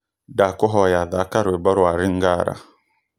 ndakūhoya thaka rwīmbo rwa lingala